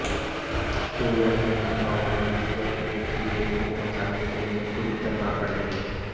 तो वही ममता बनर्जी अपने किले को बचाने के लिए पूरी तरह अड़ी है